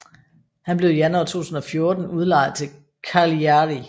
Han blev i januar 2014 udlejet til Cagliari